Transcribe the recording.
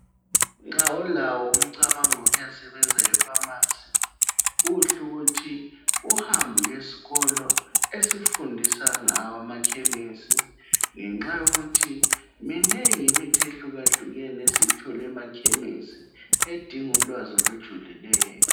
Nxa ulawo umcabango wokuya sebenza efamasi kuhle ukuthi uhambe uyesikolo esifundisa ngawo amakhemisi, ngenxa yokuthi minengi imithi ehlukahlukene esiyithola emakhemisi edinga ulwazi olujulileyo.